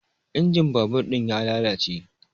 Injin babur ɗin ya lalace